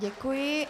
Děkuji.